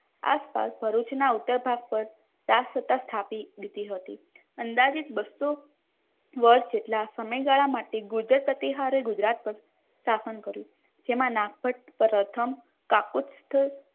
આસપાસ ભરૂચના ઉત્તર ભાગ પર રાજ સત્તા સ્થાપી હતી અંદાજિત બસ્સો વર્ષ જેટલા સમયગાળા માટે ગુર્જર પ્રતિહારે ગુજરાત પર સ્થાપન કર્યું. જેમાં નાગવર પ્રથમ કાકોત્સવ